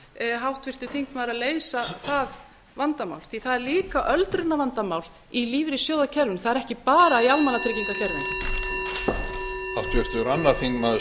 háttvirtur þingmaður að leysa það vandamál því að það er líka öldrunarvandamál í lífeyrissjóðakerfinu það er ekki bara í almannatryggingakerfinu